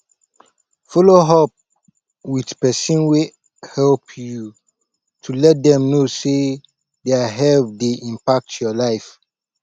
follow up with person wey help you to let them know sey their help dey impact your life